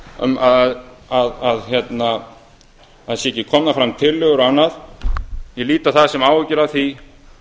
það sé ekkert að gerast að það séu ekki komnar fram tillögur og annað ég lít á það sem áhyggjur af því